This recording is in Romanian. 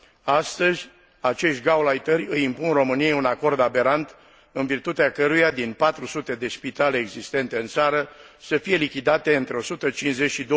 Astăzi, acești gauleiteri îi impun României un acord aberant, în virtutea căruia din 400 de spitale existente în țară să fie lichidate între 150 și